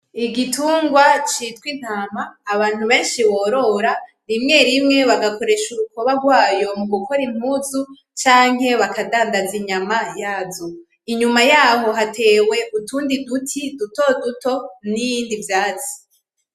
Igitungwa citwa intama abantu benshi borora rimwe rimwe bagakoresha urukoba rwayo mugukora impunzu canke bakadandaza inyama yazo, inyuma yaho hatewe utundi uduti dutoduto, nibindi vyatsi.